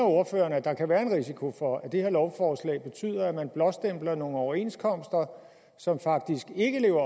at der kan være en risiko for at det her lovforslag betyder at man blåstempler nogle overenskomster som faktisk ikke lever